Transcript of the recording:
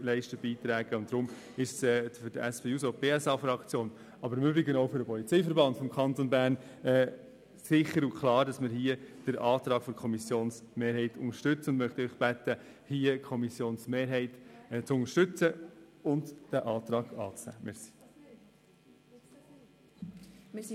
Deshalb ist es für die SPJUSO-PSA-Fraktion – sowie auch für den Polizeiverband des Kantons Bern – klar, dass sie den Antrag der Kommissionsmehrheit unterstützen wird.